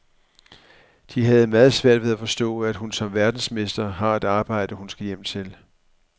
De har meget svært ved at forstå, at hun som verdensmester har et arbejde, hun skal hjem til.